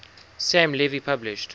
sam levy published